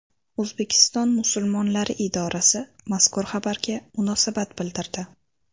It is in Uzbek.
O‘zbekiston musulmonlari idorasi mazkur xabarga munosabat bildirdi .